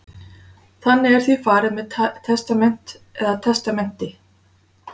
Þannig er því farið með testament eða testamenti.